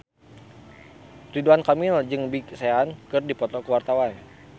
Ridwan Kamil jeung Big Sean keur dipoto ku wartawan